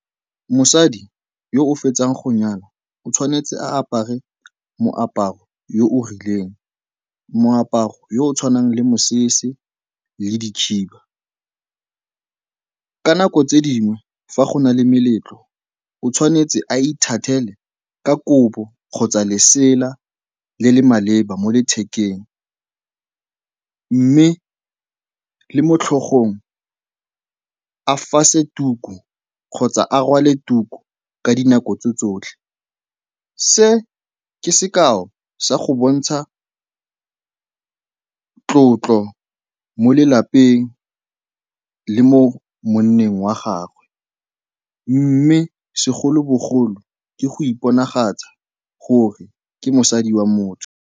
Mosadi yo o fetsang go nyalwa o tshwanetse a apare moaparo o o rileng. Moaparo yo o tshwanang le mosese le dikhiba. Ka nako tse dingwe fa go na le meletlo, o tshwanetse a ithathele ka kobo kgotsa lesela le le maleba mo lethekeng mme le mo tlhogong a fase tuku kgotsa a rwale tuku ka dinako tsotlhe. Se ke sekao sa go bontsha tlotlo mo lelapeng le mo monneng wa gagwe mme segolobogolo ke go iponagatsa gore ke mosadi wa motho.